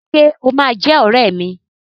Ṣé o máa jẹ́ ọrẹ́ mi?